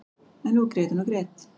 En nú grét hún og grét.